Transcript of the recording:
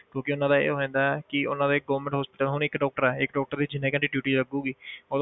ਕਿਉਂਕਿ ਉਹਨਾਂ ਦਾ ਇਹ ਹੋ ਜਾਂਦਾ ਹੈ ਕਿ ਉਹਨਾਂ ਦੇ government hospital ਹੁਣ ਇੱਕ doctor ਹੈ ਇੱਕ doctor ਦੀ ਜਿੰਨੇ ਘੰਟੇ duty ਲੱਗੇਗੀ